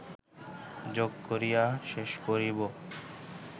যোগ করিয়া শেষ করিব